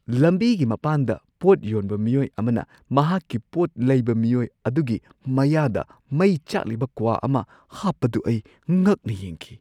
ꯂꯝꯕꯤꯒꯤ ꯃꯄꯥꯟꯗ ꯄꯣꯠ ꯌꯣꯟꯕ ꯃꯤꯑꯣꯏ ꯑꯃꯅ ꯃꯍꯥꯛꯀꯤ ꯄꯣꯠ ꯂꯩꯕ ꯃꯤꯑꯣꯏ ꯑꯗꯨꯒꯤ ꯃꯌꯥꯗ ꯃꯩ ꯆꯥꯛꯂꯤꯕ ꯀ꯭ꯋꯥ ꯑꯃ ꯍꯥꯞꯄꯗꯨ ꯑꯩ ꯉꯛꯅ ꯌꯦꯡꯈꯤ꯫